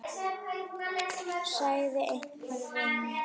sagði einhver við mig.